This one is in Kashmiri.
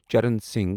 چرن سنگھ